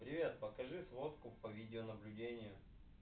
привет покажи сводку по видеонаблюдению